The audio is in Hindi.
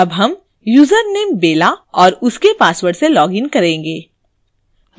अब हम यूजरनेम bella और उसके password से login करेंगे